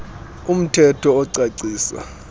um thetho ocacisa